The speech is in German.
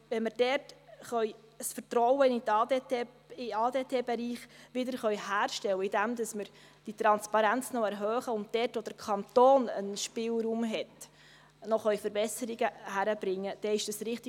Wenn wir dort das Vertrauen in den ADT-Bereich wiederherstellen können, indem wir die Transparenz noch erhöhen und auch der Kanton dort einen Spielraum hat, noch Verbesserungen erreichen zu können, dann ist es richtig.